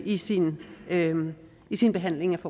i sin i sin behandling